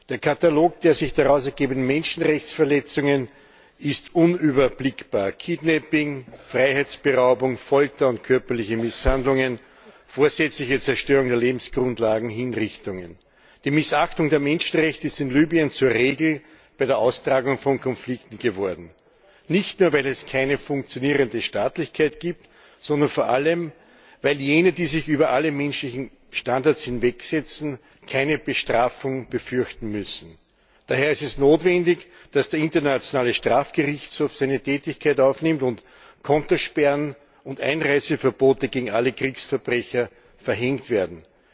Der Katalog der sich daraus ergebenden Menschenrechtsverletzungen ist unüberblickbar Kidnapping, Freiheitsberaubung, Folter und körperliche Misshandlungen, vorsätzliche Zerstörung der Lebensgrundlagen und Hinrichtungen. Die Missachtung der Menschenrechte ist in Libyen zur Regel bei der Austragung von Konflikten geworden, nicht nur, weil es keine funktionierende Staatlichkeit gibt, sondern vor allem, weil jene, die sich über alle menschlichen Standards hinwegsetzen, keine Bestrafung befürchten müssen. Daher ist es notwendig, dass der Internationale Strafgerichtshof seine Tätigkeit aufnimmt und Kontosperren und Einreiseverbote gegen alle Kriegsverbrecher verhängt werden.